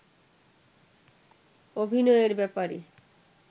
অভিনয়ের ব্যাপারে